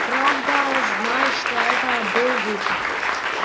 правда знал что это был выход